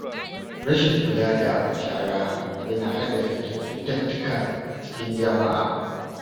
Rashin kula da shara yana haddasa cututtuka a cikin jama’a.